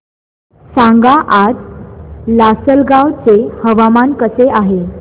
सांगा आज लासलगाव चे हवामान कसे आहे